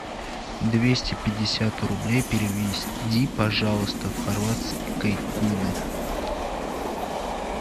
двести пятьдесят рублей переведи пожалуйста в хорватские куны